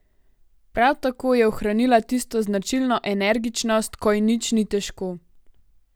Prav tako je ohranila tisto značilno energičnost, ko ji nič ni težko.